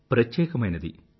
ప్రత్యేకమైనది